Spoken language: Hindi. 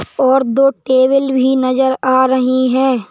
और दो टेबल भी नजर आ रही हैं।